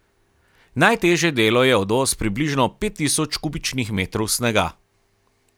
Najtežje delo je odvoz približno pet tisoč kubičnih metrov snega.